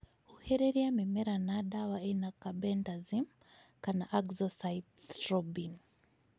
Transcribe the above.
Huhĩrĩria mimera na dawa ĩna carbendazim kana azoxystrobin.